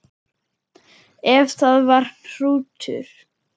Ef það var hrútur.